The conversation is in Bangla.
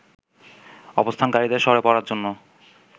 অবস্থানকারীদের সরে পড়ার জন্য